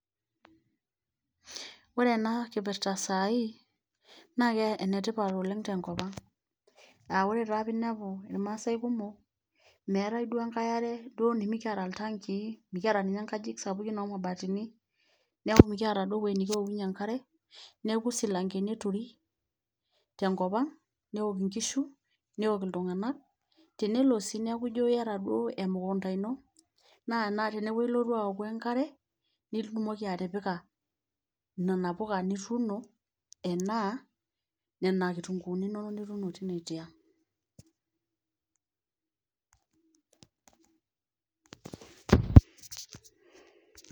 Oore eena kipirta saai, naa enetipat oleng tenkopang'. Ah oore taa peyie inepu irmaasae kumok meetae duo enkae aare nemekiata iltankii, mekiata ninye inkajijik sapuki omabatini, niaku mekiata duo ewueji nekiokunyie enkare, niaku isilankeni eturi, tenkop ang' neok inkishu, neok iltung'anak, tenelo sii niaku iijo iyata duo emukuunda iino naa teene wueji ilotu aoku enkare nitumoki atipika nena puka nituuno, enaa nena kitunguuni inono nituuno teine tiang. silence